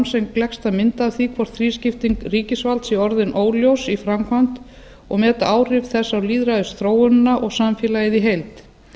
sem gleggsta mynd af því hvort þrískipting ríkisvalds sé orðin óljós í framkvæmd og meta áhrif þess á lýðræðisþróunina og samfélagið í heild